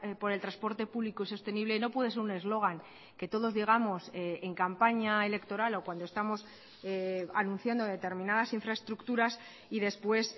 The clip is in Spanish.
por el transporte público y sostenible no puede ser un eslogan que todos digamos en campaña electoral o cuando estamos anunciando determinadas infraestructuras y después